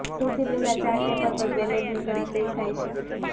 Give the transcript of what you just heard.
સૌથી પહેલા ચાર ટેબલ પર બેલેટની ગણતરી થાય છે